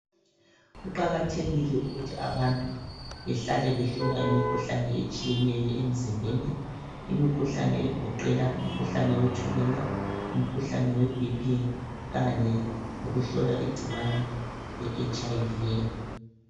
Kuqakathekile ukuthi abantu behlale behlolwa imikhuhlane etshiyeneyo emzimbeni. Imikhuhlane egoqela umkhuhlane wetshukela, umkhuhlane weBP kanye lokuhlolwa igcikwane leHIV